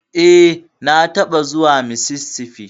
E, na taɓa zuwa Mississippi.